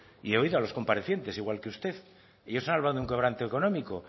y yo he oído a los comparecientes al igual que usted ellos han hablado de un quebranto económico